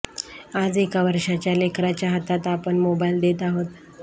आज एका वर्षाच्या लेकराच्या हातात आपण मोबाईल देत आहोत